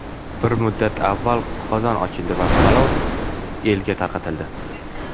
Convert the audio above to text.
Bir muddat avval qozon ochildi va palov elga tarqatildi.